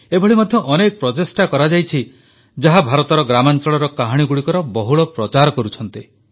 ଏଭଳି ମଧ୍ୟ ଅନେକ ପ୍ରଚେଷ୍ଟା କରାଯାଇଛି ଯାହା ଭାରତର ଗ୍ରାମାଞ୍ଚଳର କାହାଣୀଗୁଡ଼ିକର ବହୁଳ ପ୍ରଚାର କରୁଛି